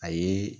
A ye